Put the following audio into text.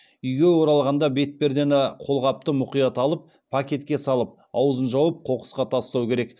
үйге оралғанда бетпердені қолғапты мұқият алып пакетке салып аузын жауып қоқысқа тастау керек